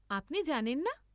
আপনি জানেন না?